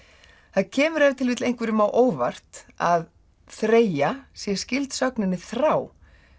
það kemur ef til vill einhverjum á óvart að þreyja sé skyld sögninni þrá